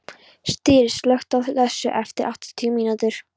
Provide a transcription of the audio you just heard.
Styr, slökktu á þessu eftir áttatíu mínútur.